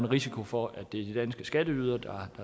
risiko for at det er de danske skatteydere der